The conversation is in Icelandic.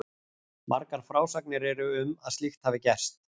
Margar frásagnir eru um að slíkt hafi gerst.